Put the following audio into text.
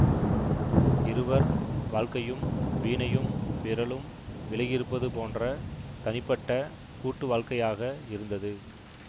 இருவர் வாழ்க்கையும் வீணையும் விரலும் விலகியிருப்பது போன்ற தனிப்பட்ட கூட்டு வாழ்க்கையாக இருந்தது